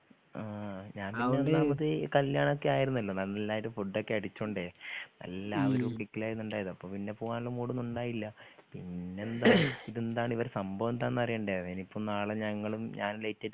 ആ ഞാനൊന്നാമത് കല്ല്യാണൊക്കെയായിരുന്നല്ലോ നല്ലായിട്ട് ഫുഡൊക്കെ അടിച്ചോണ്ടെ നല്ല അപ്പൊ പിന്നെ പൂവാന്ള്ള മൂടോന്നുണ്ടായില്ല പിന്നെന്താ ഇതെന്താണിവരെ സംഭവെന്താന്നറിയണ്ടെ അയിനിപ്പം നാളെ ഞങ്ങളും ഞാനും ലൈറ്റ് ആയിട്ട്